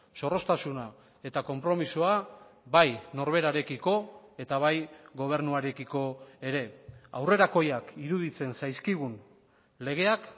zorroztasuna eta konpromisoa bai norberarekiko eta bai gobernuarekiko ere aurrerakoiak iruditzen zaizkigun legeak